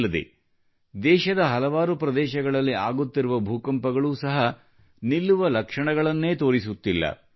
ಅಲ್ಲದೆ ದೇಶದ ಹಲವಾರು ಪ್ರದೇಶಗಳಲ್ಲಿ ಆಗುತ್ತಿರುವ ಭೂಕಂಪಗಳು ಸಹ ನಿಲ್ಲುವ ಲಕ್ಷಣಗಳನ್ನೇ ತೋರಿಸುತ್ತಿಲ್ಲ